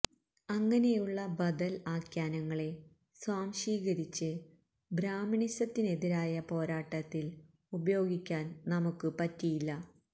അങ്ങനെയുള്ള ബദല് ആഖ്യാനങ്ങളെ സ്വാംശീകരിച്ച് ബ്രാഹ്മണിസത്തിനെതിരായ പോരാട്ടത്തില് ഉപയോഗിക്കാന് നമുക്ക് പറ്റിയില്ല